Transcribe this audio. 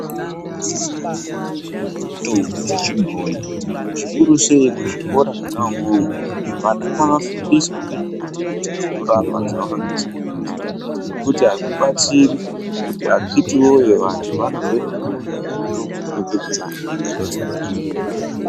Vantu vanosise kufunda ngezvemutombo dzechibhoi zvikuru sei muzvikora mwona imwomwo vana ngavafundiswe ngezvemumbuti dzinorapa dzavaka garisana nadzo. Ngekuti hazvibatsiri kuti akhiti voye vantu vanozoende kutsvake mitombo dzinobva kunze kwenyika ivo vakagara nemutombo.